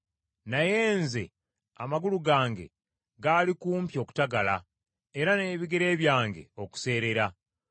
Naye nze amagulu gange gaali kumpi okutagala era n’ebigere byange okuseerera.